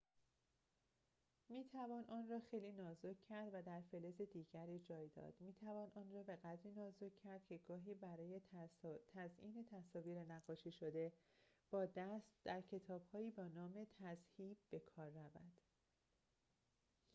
می‌توان آن را خیلی نازک کرد و در فلز دیگر جای داد می‌توان آن را بقدری نازک کرد که گاهی برای تزئین تصاویر نقاشی‌شده با دست در کتاب‌هایی با نام تذهیب بکار رود